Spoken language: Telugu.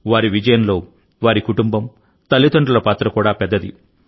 వారి విజయంలో వారి కుటుంబం తల్లిదండ్రుల పాత్ర కూడా పెద్దది